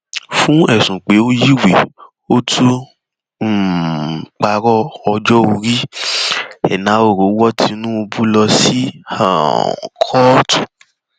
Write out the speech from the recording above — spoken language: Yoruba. fún ẹsùn pé ó yiwèé ó tún um parọ ọjọ orí enahoro wọ tinubu lọ sí um kóòtù